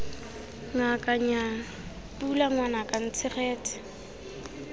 ngaka nnyaa pula ngwanaka ntshegetse